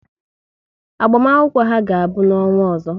Agbamakwụkwọ ha ga-abụ n'ọnwa ọzọ